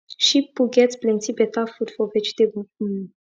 sheep poo get plenty better food for vegetable um